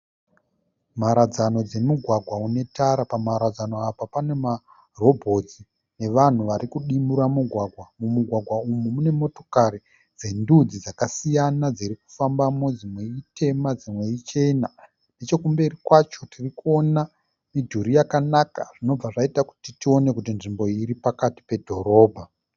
Mharadzano dzomugwagwa une tara, pamharadzano apa pane marobhotsi nevanhu vari kudimura mugwagwa. Mumugwagwa umu mune motokari dzendudzi dzakasiyana dziri kufambamo, dzimwe itema dzimwe ichena. Nechokumberi kwacho tiri kuona midhuri yakanaka zvinobva zvaita kuti tione kuti nzvimbo iyi iri pakati pedhorobha.